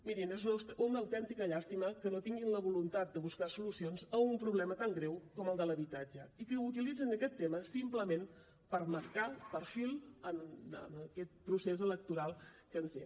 mirin és una autèntica llàstima que no tinguin la voluntat de buscar solucions a un problema tan greu com el de l’habitatge i que utilitzin aquest tema simplement per marcar perfil en aquest procés electoral que ens ve